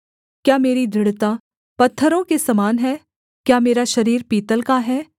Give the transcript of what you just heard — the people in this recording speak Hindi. क्या मेरी दृढ़ता पत्थरों के समान है क्या मेरा शरीर पीतल का है